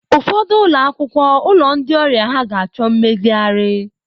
Ụfọdụ ụlọ akwụkwọ, ụlọ ndi ọrịa ha ga-achọ mmezigharị.